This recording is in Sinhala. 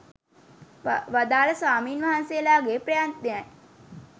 වදාළ ස්වාමීන් වහන්සේලාගේ ප්‍රයත්නයයි